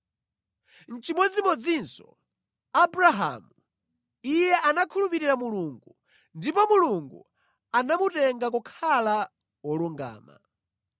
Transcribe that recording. Nʼchimodzimodzinso Abrahamu, “Iye anakhulupirira Mulungu, ndipo Mulungu anamutenga kukhala wolungama.”